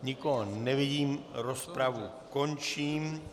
Nikoho nevidím, rozpravu končím.